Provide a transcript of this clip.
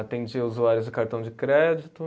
Atendia usuários de cartão de crédito.